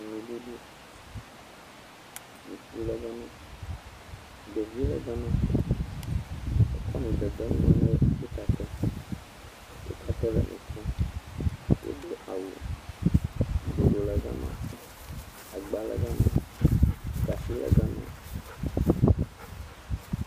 Nuɖuɖu, ŋutsu le gama, ɖevi le gama, ekɔ nu dede nu me ne wo tatɛ, wo tatɛ le nu kom, wodo awu, bloɖo le gama, agba le gama, gatsi le gama.